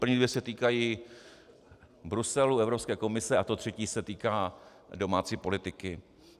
První dvě se týkají Bruselu, Evropské komise a to třetí se týká domácí politiky.